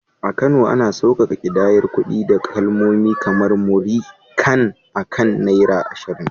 A Kano, ana sauƙaƙa ƙidayar kuɗi da kalmomi kamar “Múrí kan” akan Naira 20.